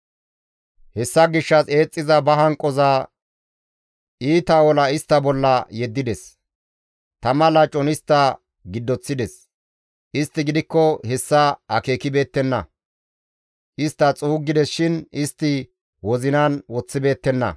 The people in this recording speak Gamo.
Hessa gishshas eexxiza ba hanqoza, iita ola istta bolla yeddides; tama lacon istta giddoththides; istti gidikko hessa akeekibeettenna; istta xuuggides shin istti wozinan woththibeettenna.